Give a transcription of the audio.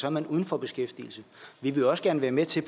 er man uden for beskæftigelse vi vil også gerne være med til